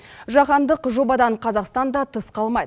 жаһандық жобадан қазақстан да тыс қалмайды